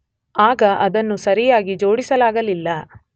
ಆಗ ಅದನ್ನು ಸರಿಯಾಗಿ ಜೋಡಿಸಲಾಗಲಿಲ್ಲ.